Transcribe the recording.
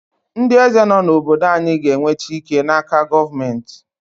Ndị eze nọ n’obodo anyị ga-enweta ike n’aka gọọmentị.